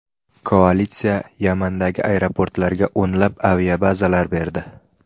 Koalitsiya Yamandagi aeroportlarga o‘nlab aviazarbalar berdi.